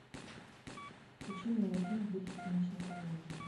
включи милый фильм в духе циничной комедии